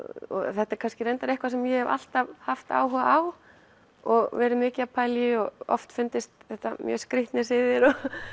þetta er kannski eitthvað sem ég hef alltaf haft áhuga á og verið mikið að pæla í og oft fundist þetta mjög skrítnir siðir